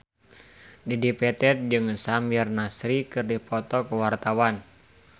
Dedi Petet jeung Samir Nasri keur dipoto ku wartawan